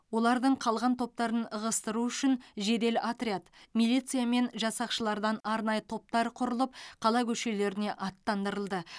олардың қалған топтарын ығыстыру үшін жедел отряд милиция мен жасақшылардан арнайы топтар құрылып қала көшелеріне аттандырылды